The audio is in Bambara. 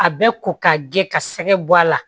A bɛ ko ka gɛlɛn ka sɛgɛ bɔ a la